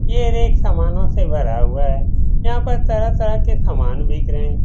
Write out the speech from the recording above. ये एक सामानों से भरा हुआ है यहां पे तरह तरह का समान बिक रहे हैं।